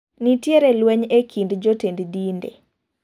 Nitiere lweny e kind jotend dinde.